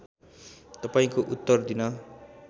तपाईँको उत्तर दिन